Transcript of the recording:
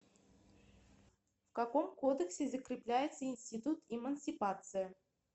в каком кодексе закрепляется институт эмансипация